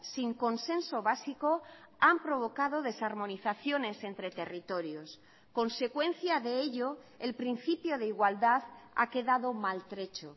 sin consenso básico han provocado desarmonizaciones entre territorios consecuencia de ello el principio de igualdad ha quedado maltrecho